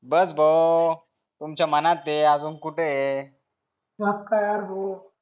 बस भाऊ तुमच्या मनात आजून कुठे